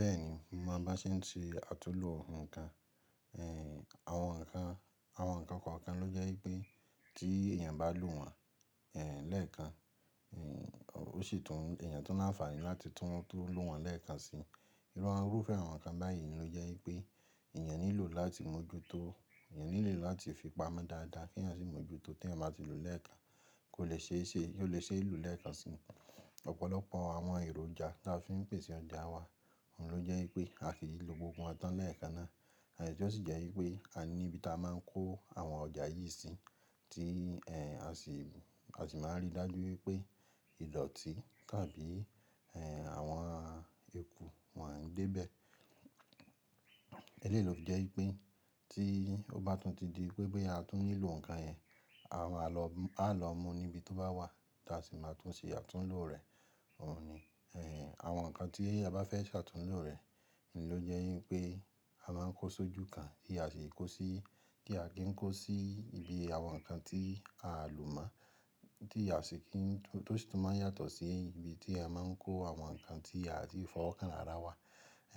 Bẹ́ẹ̀ni, mo mo bá ṣe ń ṣe àtúnlo nǹkan, ẹ́ àwọn nǹkan, àwọn nǹkan kan ló jẹ́ pé tí èèyàn bá lò wọ́n ẹ́ lẹ́ẹ̀kan ẹ́ ó sì tún èèyàn tun ni àfààní láti tún tó lò wọ́n lẹ́ẹ̀kan si. Iruawon rufe àwọn nǹkan báyìí ló jẹ́ pé èèyàn nílò láti mójútó, èèyàn nílò láti fi pamọ́ dáadáa kí èèyàn sì mójútó tí èèyàn bá ti lò ó lẹ́ẹ̀kan kó lè ṣe é ṣe, kó lè ṣe é lò ó lẹ́ẹ̀kan si. Ọ̀pọ̀lọpọ̀ àwọn èròjà tí a fi ń pèsè ọjà wá, òhun ló jẹ́ pé a kì í lo gbogbo wọn tán lẹ́ẹ̀kan ná. E tí ó sì jẹ́ wípé a ní ibi ta máa ń kó àwọn ọjà yìí sí tí ẹ́ a sì, a sì máa ń rí dájú wípé ìdọ̀tí tàbí ẹ́ àwọn eku won de bẹ̀. Elé yi lo fi jẹ́ wípé tí ó bá tún ti di pé boyà a tún nílò nǹkan ẹ́, a máa lọ, a lọ mú ní ibi tó bá wà tí a sì máa tún ṣe àtúnlo rẹ̀. Òhun ni ẹ́ àwọn nǹkan tí a bá fẹ́ ṣe àtúnlo rẹ̀, òhun ló jẹ́ wípé a máa ń kó sójú kan tí a sì ń kó sí, kí a kì í kó sí ibi àwọn nǹkan tí a lò mọ́ tí a sì kì í tún tó sì máa ń yàtọ̀ sí ibi tí ẹ máa ń kó àwọn nǹkan tí a ti fọwọ́ kan rara wa